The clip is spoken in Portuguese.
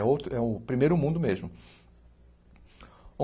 É outro é um primeiro mundo mesmo.